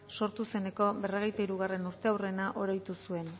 sortu zeneko berrogeita hirugarrena urteurrena oroitu zuen